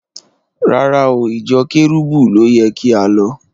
Rárá o, ìjọ Kẹ́rúbù ló yẹ kí á lọ.